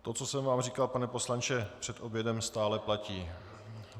To, co jsem vám říkal, pane poslanče, před obědem, stále platí.